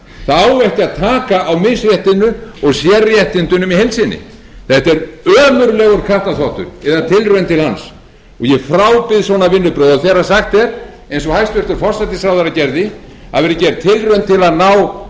það á ekki að taka á misréttinu og sérréttindunum í heild sinni þetta er ömurlegur kattarþvottur eða tilraun til hans og ég frábið svona vinnubrögð og þegar sagt er eins og hæstvirtur forsætisráðherra gerði að það verði